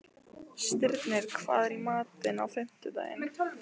Stirnir, hvað er í matinn á fimmtudaginn?